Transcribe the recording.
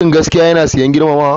Shin gaskiya yana sayen girmamawa?